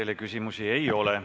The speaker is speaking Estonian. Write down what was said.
Teile küsimusi ei ole.